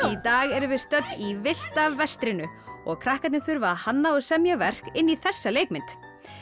í dag erum við stödd í villta vestrinu og krakkarnir þurfa að hanna og semja verk inn í þessa leikmynd